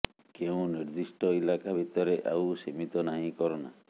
କେଉଁ ନିର୍ଦ୍ଦିଷ୍ଟ ଇଲାକା ଭିତରେ ଆଉ ସୀମିତ ନାହିଁ କରୋନା